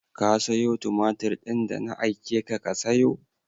Ka sayo tumatir din da na aike ka ka sayo?